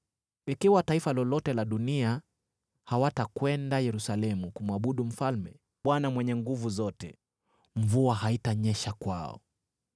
Ikiwa taifa lolote la dunia hawatakwenda Yerusalemu kumwabudu Mfalme, Bwana Mwenye Nguvu Zote, mvua haitanyesha kwao.